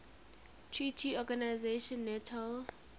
treaty organization nato